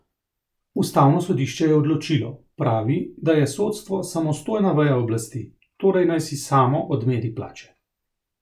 Ustavno sodišče je odločilo, pravi, da je sodstvo samostojna veja oblasti, torej naj si samo odmeri plače.